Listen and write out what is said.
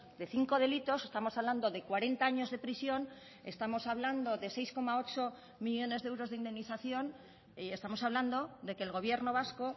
de cinco delitos estamos hablando de cuarenta años de prisión estamos hablando de seis coma ocho millónes de euros de indemnización y estamos hablando de que el gobierno vasco